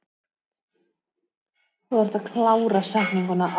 Þvert á móti vel þekkt.